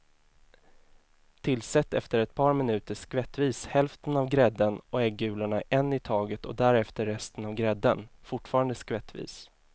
Tillsätt efter ett par minuter skvättvis hälften av grädden och äggulorna en i taget och därefter resten av grädden, fortfarande skvättvis.